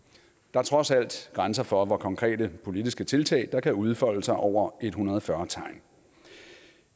er trods alt grænser for hvor konkrete politiske tiltag der kan udfolde sig over en hundrede og fyrre tegn